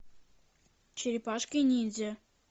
черепашки ниндзя